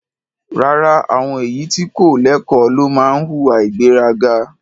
Rárá, àwọn èyí tí kò lẹ́kọ̀ọ́ ló máa ń hùwà ìgbéraga.